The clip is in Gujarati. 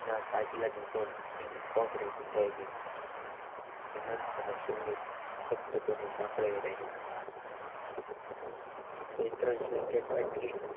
કોપરાના કાચલા ની જેમ એની ખોપરી વીંધાઈ ગઈ હેમંત અને સમીર સથભ બનીને સાંભળી રહ્યા હતા બે-ત્રણ સંકેત અટકી